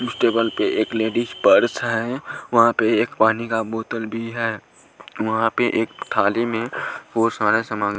table पे एक ladies purse है वहां पे एक पानी का बोतल भी है वहां पे एक थाली में और सारा सामान--